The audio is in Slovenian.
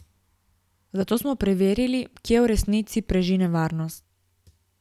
Zato smo preverili, kje v resnici preži nevarnost.